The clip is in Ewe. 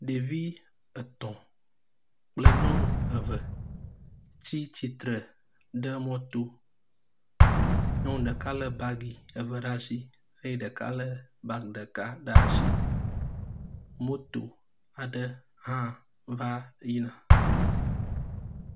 Ɖevi etɔ̃ kple nyɔnu eve tsi tsitre ɖe mɔto. Nyɔnu ɖeka le bagi eve ɖe asi eye ɖeka le bagi ɖeka ɖe asi. Moto aɖe hã va yi na.